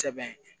Sɛbɛn